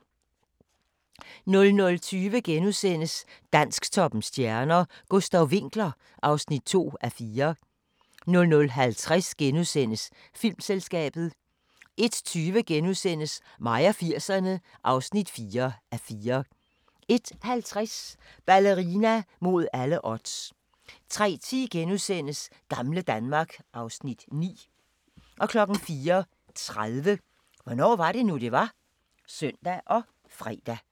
00:20: Dansktoppens stjerner: Gustav Winckler (2:4)* 00:50: Filmselskabet * 01:20: Mig og 80'erne (4:4)* 01:50: Ballerina mod alle odds 03:10: Gamle Danmark (Afs. 9)* 04:30: Hvornår var det nu, det var? (søn og fre)